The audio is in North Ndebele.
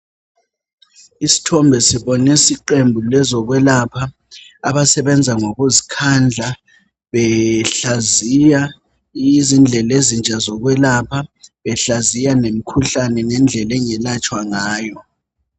Isithombe sibonisa iqembu lezokhwelapha abasebenza ngokuzikhandla behlaziya izindlela ezintsha zokwelapha behlaziye lemikhuhlane ngendlela engalatshwa ngayo.